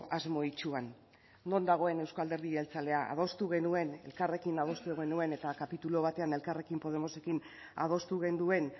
asmo itsuan non dagoen euzko alderdi jeltzalea adostu genuen elkarrekin adostu genuen eta kapitulu batean elkarrekin podemosekin adostu genuen